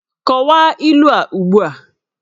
Kọwaa ilu a ugbu a!